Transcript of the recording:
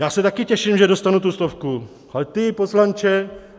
Já se taky těším, že dostanu tu stovku, ale ty poslanče...